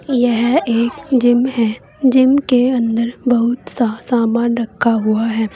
यह एक जिम है जिम के अंदर बहुत सा सामान रखा हुआ है।